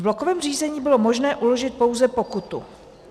V blokovém řízení bylo možné uložit pouze pokutu.